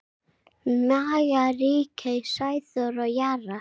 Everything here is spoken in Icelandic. Maja, Ríkey, Sæþór og Jara.